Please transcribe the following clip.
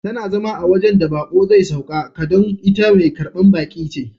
Tana zama a wajen da bako zai sauka ka don ita Mai karban baki ce.